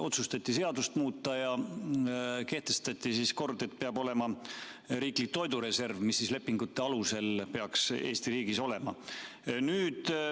Otsustati seadust muuta ja kehtestati kord, et peab olema riiklik toidureserv, mis lepingute alusel peaks Eesti riigis olema.